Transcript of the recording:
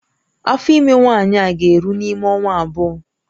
Afọ ime nwaanyị a ga-eru n'ime ọnwa abụọ